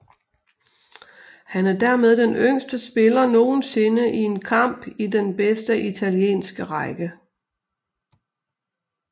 Han er dermed den yngste spiller nogensinde i en kamp i den bedste italienske række